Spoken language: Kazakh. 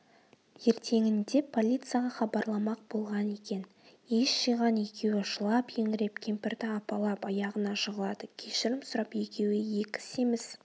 ертеңінде полицияға хабарламақ болған екен ес жиған екеуі жылап-еңіреп кемпірді апалап аяғына жығылады кешірім сұрап екеуі екі семіз